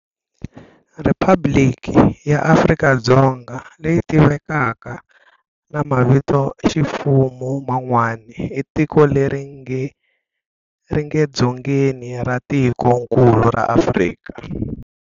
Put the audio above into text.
Riphabliki ya Afrika-Dzonga, leyi tiviwaka na mavitoximfumo manwana, i tiko leri nge Dzongeni ra tikonkulu ra Afrika.